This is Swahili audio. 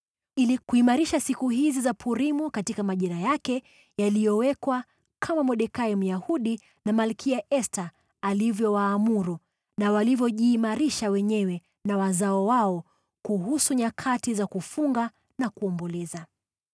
ili kuimarisha siku hizi za Purimu katika majira yake yaliyowekwa, kama Mordekai, Myahudi na Malkia Esta walivyowaamuru, na walivyojiimarisha wenyewe na wazao wao kuhusu nyakati za kufunga na kuomboleza.